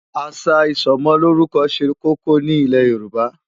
Àṣà ìsọmọlórúkọ ṣe kókó ní ilẹ̀ Yorùbá.